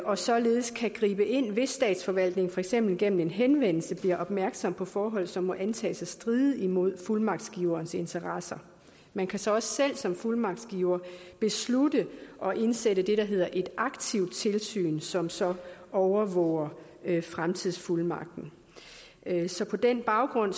og således kan gribe ind hvis statsforvaltningen for eksempel gennem en henvendelse bliver opmærksom på forhold som må antages at stride imod fuldmagtsgiverens interesser man kan så også selv som fuldmagtsgiver beslutte at indsætte det der hedder et aktivt tilsyn som så overvåger fremtidsfuldmagten så på den baggrund